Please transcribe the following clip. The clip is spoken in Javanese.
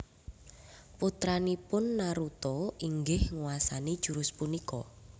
Putranipun Naruto inggih nguwasani jurus punika